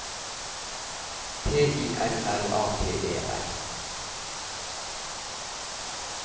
T I L L A T E R